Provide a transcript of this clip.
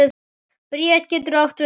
Bríet getur átt við